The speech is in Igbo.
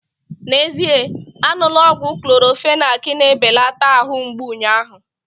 N'ezie aṅụla ọgwụ Clorofenak na-ebelata ahụ mgbụ unyaahu